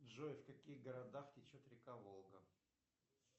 джой в каких городах течет река волга